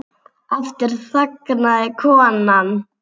Aftur þagnaði konan.